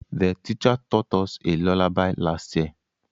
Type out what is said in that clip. The teacher taught us a luallaby last year